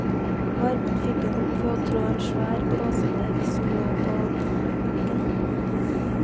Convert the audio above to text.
Varmen fikk en opp ved å trå en svær blåsebelg som lå på bakken.